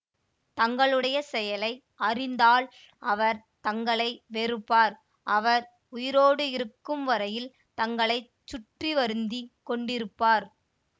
தங்களுடைய செயலை அறிந்தால் அவர் தங்களை வெறுப்பார் அவர் உயிரோடு இருக்கும் வரையில் தங்களை சுற்றி வருந்தி கொண்டிருப்பார்